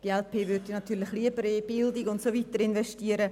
Die glp würde natürlich lieber in Bildung und so weiter investieren.